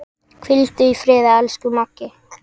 Hvíldu í friði, elsku Maggi.